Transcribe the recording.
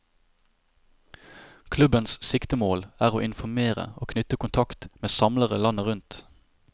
Klubbens siktemål er å informere og knytte kontakt med samlere landet rundt.